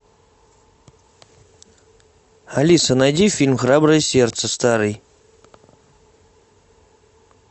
алиса найди фильм храброе сердце старый